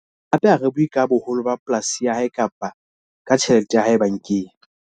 Hape ha re bue ka boholo ba polasi ya hae kapa ka tjhelete ya hae bankeng.